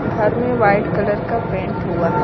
घर में white colour का पेंट हुआ है।